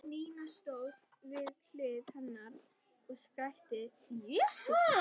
Nína stóð við hlið hennar og skrækti: Jesús!